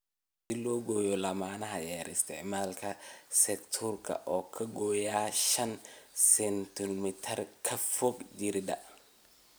Si loo gooyo laamaha yaryar isticmaal secateurs oo ka gooy shan sentimitar meel ka fog jirridda.